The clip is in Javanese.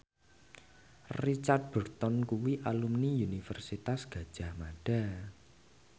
Richard Burton kuwi alumni Universitas Gadjah Mada